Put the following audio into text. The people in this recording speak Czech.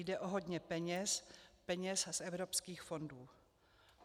Jde o hodně peněz, peněz z evropských fondů.